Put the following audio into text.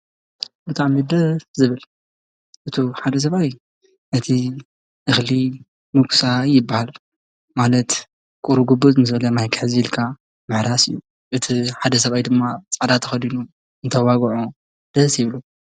ብጣዕሚ ደስስ ዝብል እቲ ሓደ ሰብኣይ እቲ እኽሊ ምጉሳይ ይበሃል ማለት ቁሩጕብዘ ምስብለ ማይ ክሕዝ ኢልካ ምሕራስ እዩ እቲ ሓደ ሰይ ድማ ፃዕዳ ተኸዲኑ እንተዋግዖ ደሲይብሉ።